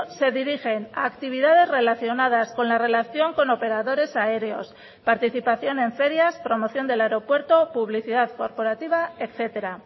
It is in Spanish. se dirigen a actividades relacionadas con la relación con operadores aéreos participación en ferias promoción del aeropuerto publicidad corporativa etcétera